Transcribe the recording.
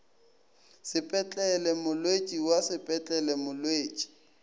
sepetlele molwetši wa sepetlele molwetši